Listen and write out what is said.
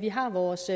vi har vores